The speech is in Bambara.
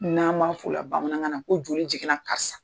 N'an b'a f'o la bamanankan na ko joli jiginna karisa